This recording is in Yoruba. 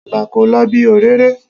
Ìgbà kò lo bí òréré.